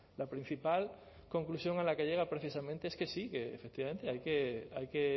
la principal conclusión a la que llega precisamente es que sí que efectivamente hay que